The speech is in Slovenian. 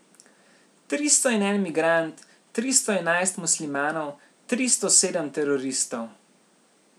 Tristo in en migrant, tristo enajst muslimanov, tristo sedem teroristov...